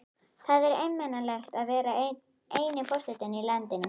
Það er einmanalegt að vera eini forsetinn í landinu.